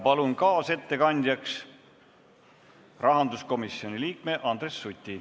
Palun kaasettekandjaks rahanduskomisjoni liikme Andres Suti!